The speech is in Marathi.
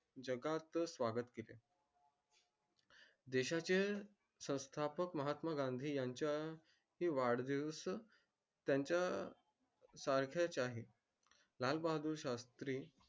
जगात त स्वागत केले देशातील संस्थापक महात्मा गांधी यांच्या वाढदिवस यांच्या तारखेच्या लाल बहादूर शास्री